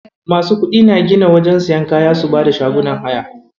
Masu kuɗi na gina wajen siyan kaya su bada shagunan haya.